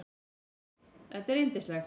Þetta er yndislegt